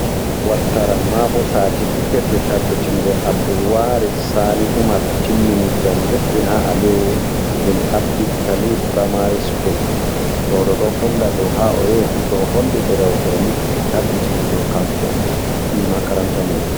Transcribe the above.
Wattaram ma bo satifiket je tabbitingo Abdulwari Sani Umar timmini jangirdi ha Aliyu Bn Abi talib furamari school, ɗo ɗo ɗo holla do ha o yahifu to o holli derewol ɗo ɓe tabbitini do kanko o ɓi makaranta mai on.